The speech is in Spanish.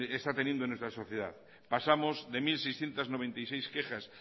está teniendo en nuestra sociedad pasamos de mil seiscientos noventa y seis quejas